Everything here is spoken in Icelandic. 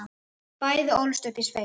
Bæði ólust upp í sveit.